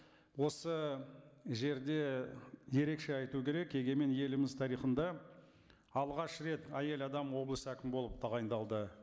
осы жерде ерекше айту керек егемен еліміз тарихында алғаш рет әйел адам облыс әкімі болып тағайындалды